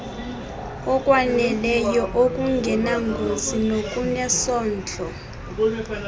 okwaneleyo okungenangozi nokunesondlo